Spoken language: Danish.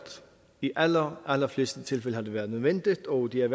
i de allerallerfleste tilfælde har det været nødvendigt og det har